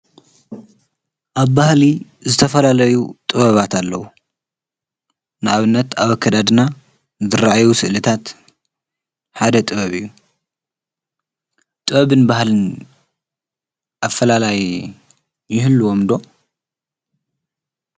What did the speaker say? ኣብ ባህሊ ዝተፈላለዩ ጥበባት ኣለዉ ንኣብነት ኣበከዳድና ድረአዩ ስእልታት ሓደ ጥበብ እዩ ጥበብን በሃልን ኣፈላላይ ይህልዎምዶ